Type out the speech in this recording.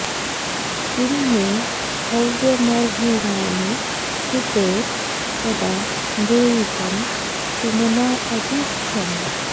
किं मे हव्यमहृणानो जुषेत कदा मृळीकं सुमना अभि ख्यम्